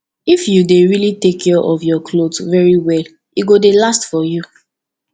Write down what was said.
if you dey really take care of your clothes very well e go last for you